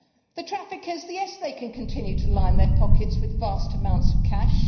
The traffickers yes, they can continue to line their pockets with vast amounts of cash.